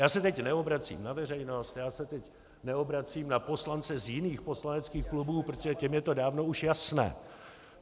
Já se teď neobracím na veřejnost, já se teď neobracím na poslance z jiných poslaneckých klubů, protože těm je to dávno už jasné.